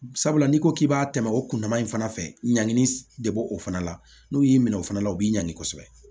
Sabula n'i ko k'i b'a tɛmɛ o kunna in fana fɛ ɲangini de b'o o fana la n'u y'i minɛ o fana la u b'i ɲangi kosɛbɛ